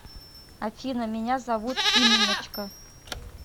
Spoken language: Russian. афина меня зовут инночка